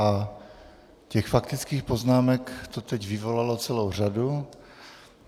A těch faktických poznámek to teď vyvolalo celou řadu.